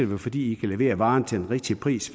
være fordi i kan levere varen til den rigtige pris